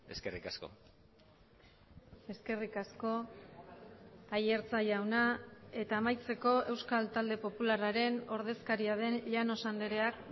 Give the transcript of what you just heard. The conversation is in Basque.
eskerrik asko eskerrik asko aiartza jauna eta amaitzeko euskal talde popularraren ordezkaria den llanos andreak